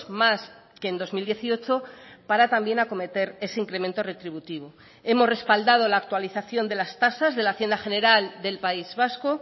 más que en dos mil dieciocho para también acometer ese incremento retributivo hemos respaldado la actualización de las tasas de la hacienda general del país vasco